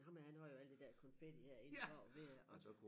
Ham her han havde jo alt der konfetti herinde og ved at